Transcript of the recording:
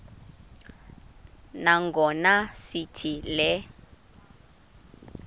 nangona sithi le